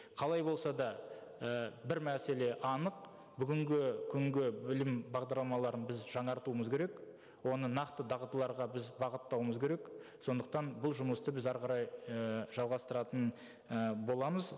қалай болса да і бір мәселе анық бүгінгі күнгі білім бағдарламаларын біз жаңартуымыз керек оны нақты дағдыларға біз бағыттауымыз керек сондықтан бұл жұмысты біз әрі қарай і жалғастыратын і боламыз